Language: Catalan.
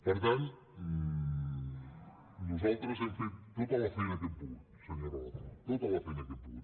per tant nosaltres hem fet tota la feina que hem pogut senyor relator tota la feina que hem pogut